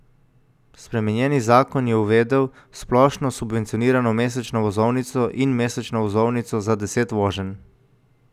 Spremenjeni zakon je uvedel splošno subvencionirano mesečno vozovnico in mesečno vozovnico za deset voženj.